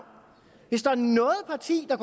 hvis der er noget parti der